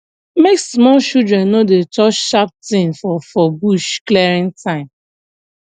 make small children no dey touch sharp thing for for bush clearing time